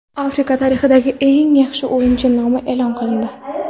Afrika tarixidagi eng yaxshi o‘yinchi nomi e’lon qilindi.